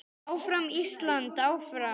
Áfram Ísland, áfram.